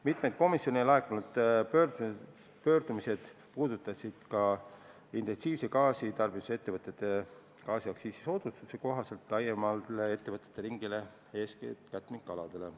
Mitmed komisjoni laekunud pöördumised puudutasid ka intensiivse gaasitarbimisega ettevõtete gaasiaktsiisi soodustuse kohaldamist laiemale ettevõtjate ringile, eeskätt katmikaianditele.